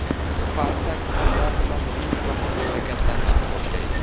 Spartak qullar bilan Rim tomon harakatlanishni boshlaydi.